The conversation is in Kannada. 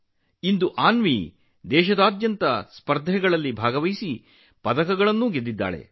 ಇಂದು ಅನ್ವಿ ದೇಶಾದ್ಯಂತ ಸ್ಪರ್ಧೆಗಳಲ್ಲಿ ಭಾಗವಹಿಸಿ ಪದಕಗಳನ್ನು ಗೆದ್ದಿದ್ದಾಳೆ